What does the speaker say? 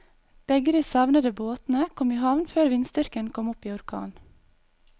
Begge de savnede båtene kom i havn før vindstyrken kom opp i orkan.